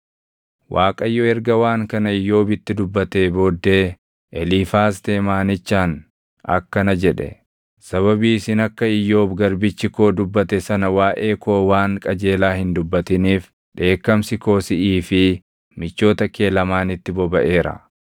Waaqayyo erga waan kana Iyyoobitti dubbatee booddee Eliifaaz Teemaanichaan akkana jedhe; “Sababii isin akka Iyyoob garbichi koo dubbate sana waaʼee koo waan qajeelaa hin dubbatiniif dheekkamsi koo siʼii fi michoota kee lamaanitti bobaʼeera.